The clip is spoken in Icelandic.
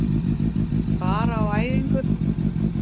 Bara á æfingu.